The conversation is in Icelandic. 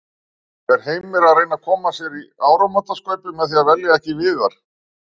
Er Heimir að reyna að koma sér í áramótaskaupið með því að velja ekki Viðar?